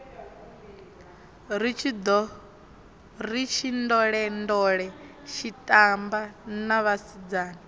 ri tshindolendole tshitamba na vhasidzana